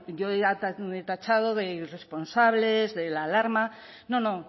bueno yo he tachado de irresponsables de la alarma no no